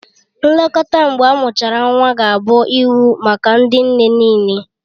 Nlekọta mgbe amụchara nwa ga-abụ iwu maka ndị nne nịịle